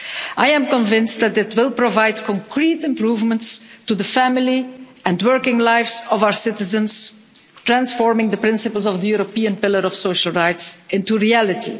I am convinced that it will provide concrete improvements to the family and working lives of our citizens, transforming the principles of the European pillar of social rights into reality.